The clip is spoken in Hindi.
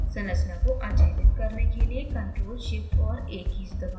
संरचना को अचयनित करने के लिए ctrl + shift और a कीज़ दबाएं